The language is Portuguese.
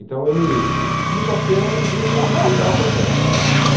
Então, ele quinta-feira era o dia que ele que ele dava plantão